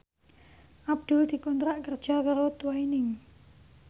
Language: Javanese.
Abdul dikontrak kerja karo Twinings